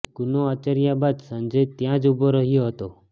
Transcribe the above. ગુનો આચર્યા બાદ સંજય ત્યાં જ ઉભો રહ્યો હતો